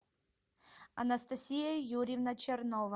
анастасия юрьевна чернова